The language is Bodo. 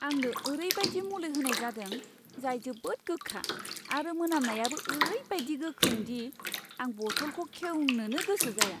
आंनो ओरैबायदि मुलि होनाय जादों जाय जोबोद गोखा आरो मोनामनायाबो ओरैबादि गोख्रों दि आं बथलखौ खेवनोबो गोसो जाया!